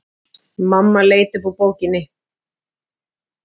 Mamma leit upp úr bókinni.